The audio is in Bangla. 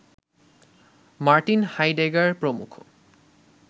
র্মার্টিন হাইডেগার প্রমুখ